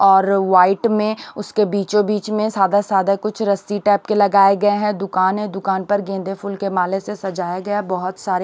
और व्हाइट में उसके बीचों बीच में सादा सादा कुछ रस्सी टाइप के लगाए गए हैं दुकान है दुकान पर गेंदे फूल के माले से सजाए गया है बहुत सारे-